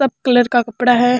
सब कलर का कपडा है।